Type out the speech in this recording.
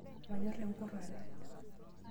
Manyorr enkurrare .